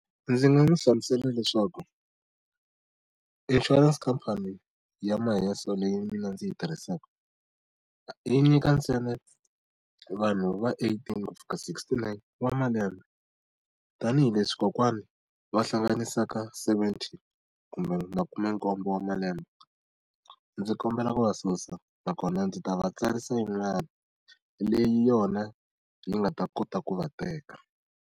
Ndzi nga n'wi hlamusela leswaku insurance company ya Maheso leyi mina ndzi yi tirhisaka, yi nyika ntsena vanhu va eighteen ku fika sixty-nine wa malembe. Tanihi leswi kokwana va hlanganisaka seventy kumbe makumenkombo wa malembe, ndzi kombela ku va susa nakona ndzi ta va tsarisa yin'wana leyi yona yi nga ta kota ku va teka.